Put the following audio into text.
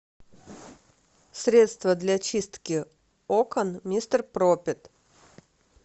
средство для чистки окон мистер пропер